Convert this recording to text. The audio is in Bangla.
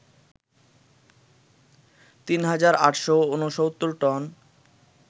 ৩ হাজার ৮৬৯ টন